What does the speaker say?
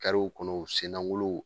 w kɔnɔ sennaŋolo